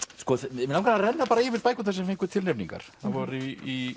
mig langar að renna yfir bækurnar sem fengu tilnefningar það voru í